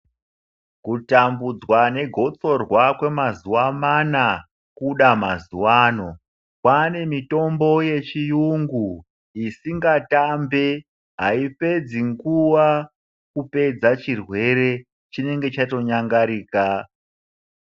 Kutambudzwa negotsorwa kwemazuwa mana kuda mazuwano kwane mitombo yechiyungu isingatambi aipedzi nguwa kupedza chirwere chinenge chatonyangarika.